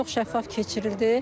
Çox şəffaf keçirildi.